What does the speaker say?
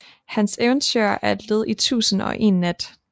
Hans eventyr er led i Tusind og en Nat